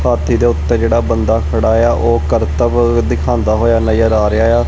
ਹਾਥੀ ਦੇ ਉੱਤੇ ਜਿਹੜਾ ਬੰਦਾ ਖੜਾ ਏ ਆ ਉਹ ਕਰਤਬ ਦਿਖਾਂਦਾ ਹੋਇਆ ਨਜ਼ਰ ਆ ਰਿਹਾ ਏ ਆ।